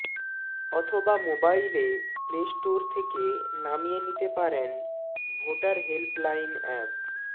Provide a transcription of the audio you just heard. অথবা মোবাইলে play store থেকে নামিয়ে নিতে পারেন ভোটার হেল্প লাইন অ্যাপ